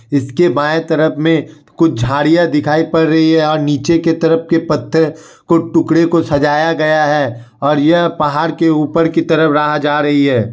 इसके बाईं तरफ मे कुछ झाड़ियां दिखाई पड़ रही है और नीचे के तरफ के पत्ते को टुकड़े को सजाया गया है। और यह पहाड़ के ऊपर की तरफ राह जा रही है।